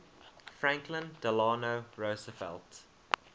franklin delano roosevelt